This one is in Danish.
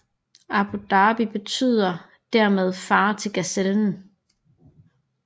Abu Dhabi betyder dermed far til gazellen